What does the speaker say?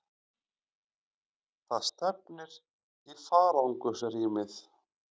Það stefnir í farangursrýmið.